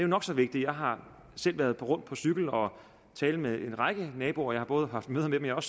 nok så vigtigt jeg har selv været rundt på cykel og tale med en række naboer jeg har både haft møder med dem og